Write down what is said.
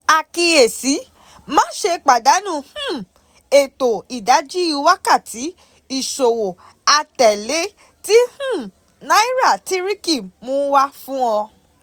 ÀKÍYÈSÍ: Maṣe padanu um eto Idaji Wakati Iṣowo atẹle ti um Nairátíríkì mu wa fun ọ.